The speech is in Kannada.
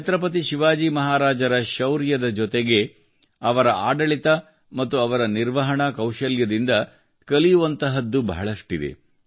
ಛತ್ರಪತಿ ಶಿವಾಜಿ ಮಹಾರಾಜರ ಶೌರ್ಯದ ಜೊತೆಗೆ ಅವರ ಆಡಳಿತ ಮತ್ತು ಅವರ ನಿರ್ವಹಣಾ ಕೌಶಲ್ಯದಿಂದ ಕಲಿಯುವಂಥದ್ದು ಬಹಳಷ್ಟಿದೆ